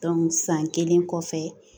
san kelen kɔfɛ